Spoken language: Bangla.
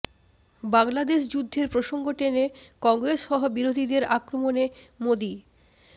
বাংলাদেশ যুদ্ধের প্রসঙ্গ টেনে কংগ্রেস সহ বিরোধীদের আক্রমণে মোদী